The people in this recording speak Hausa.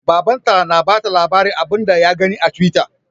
Baban ta na bata labarin abun da ya gani a twitter